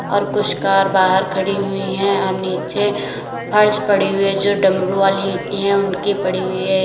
और कुछ कार बाहर खड़ी हुई हैं और नीचे फर्श पड़ी हुई है जो डमरू वाली ईंटें है उनकी पड़ी हुई है।